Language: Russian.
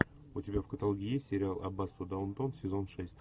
у тебя в каталоге есть сериал аббатство даунтон сезон шесть